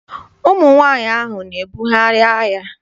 Ụmụ nwaanyị ahụ na-ebugharị ahịa.